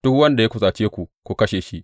Duk wanda ya kusace ku, ku kashe shi.